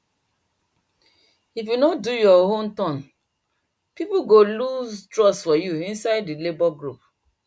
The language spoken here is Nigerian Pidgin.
if you no do your own turn people go lose trust for you inside the labor group